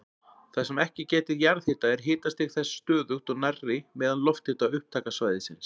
Þar sem ekki gætir jarðhita er hitastig þess stöðugt og nærri meðal-lofthita upptakasvæðisins.